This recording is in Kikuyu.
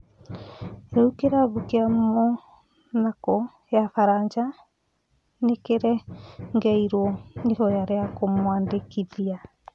Rĩu kĩrabu kĩa Monako ya Faraja nĩkĩregeirwo ihoya rĩa kũmwandĩkithia.